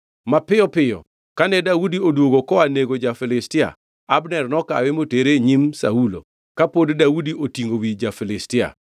Mapiyo piyo kane Daudi odwogo koa nego ja-Filistia, Abner nokawe motere e nyim Saulo, kapod Daudi otingʼo wi ja-Filistia.